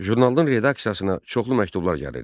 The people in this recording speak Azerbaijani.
Jurnalın redaksiyasına çoxlu məktublar gəlirdi.